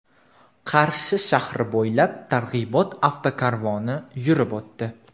Qarshi shahri bo‘ylab targ‘ibot avtokarvoni yurib o‘tdi .